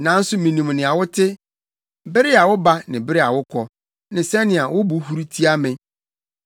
“Nanso minim nea wote bere a woba ne bere a wokɔ ne sɛnea wo bo huru tia me.